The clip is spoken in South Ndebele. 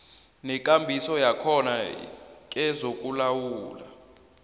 nekambiso yakhona kezokulawula